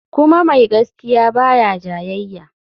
Kuma mai gaskiya ba ya jayayya.